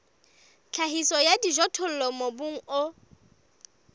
tlhahiso ya dijothollo mobung o